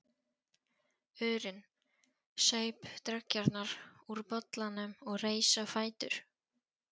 urinn, saup dreggjarnar úr bollanum og reis á fætur.